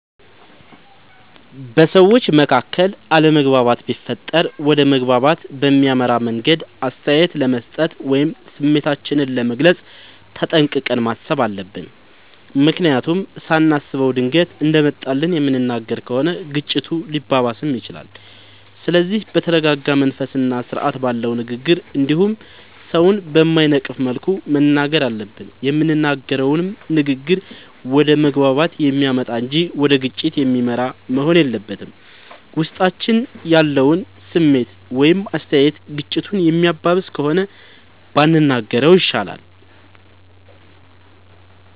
በሠዎች መካከል አለመግባባት ቢፈጠር ወደ መግባባት በሚያመራ መንገድ አስተያየት ለመስጠት ወይም ስሜታችንን ለመግለፅ ተጠንቅቀን ማሠብ አለብ። ምክንያቱም ሳናስበው ድንገት እንደመጣልን የምንናገር ከሆነ ግጭቱ ሊባባስም ይችላል። ስለዚህ በተረረጋ መንፈስና ስርአት ባለው ንግግር እንዲሁም ሠውን በማይነቅፍ መልኩ መናገር አለብን። የምንናገረውም ንግግር ወደ መግባባት የሚያመጣ እንጂ ወደ ግጭት የሚመራ መሆን የለበትም። ውስጣችን ያለው ስሜት ወይም አስተያየት ግጭቱን የሚያባብስ ከሆነ ባንናገረው ይሻላል።